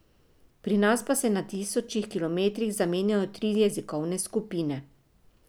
Pri nas pa se na tisočih kilometrih zamenjajo tri jezikovne skupine.